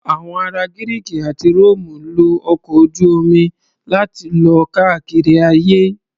Àwọn ará Gírìkì àti Róòmù lo ọkọ̀ ojú-omi láti lọ káàkiri ayé.